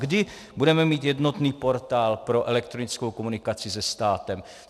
Kdy budeme mít jednotný portál pro elektronickou komunikaci se státem?